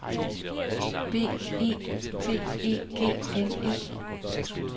B E T E G N E